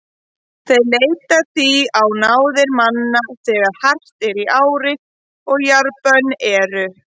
Þeir leita því á náðir manna þegar hart er í ári og jarðbönn eru.